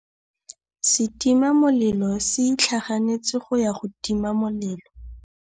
Setima molelô se itlhaganêtse go ya go tima molelô.